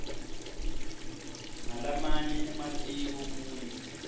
nalamanye ematiko kuyo